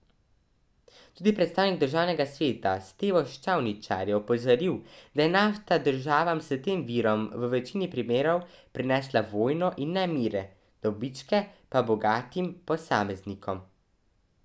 Tudi predstavnik državnega sveta Stevo Ščavničar je opozoril, da je nafta državam s tem virom v večini primerov prinesla vojno in nemire, dobičke pa bogatim posameznikom.